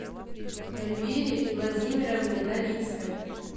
эльвире владимировне новицкой